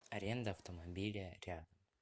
аренда автомобиля рядом